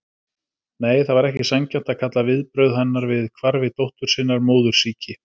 Nei, það var ekki sanngjarnt að kalla viðbrögð hennar við hvarfi dóttur sinnar móðursýki.